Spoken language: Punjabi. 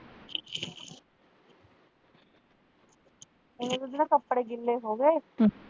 ਕੱਪੜੇ ਗਿੱਲੇ ਹੋਗੇ